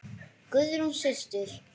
Guðrún systir.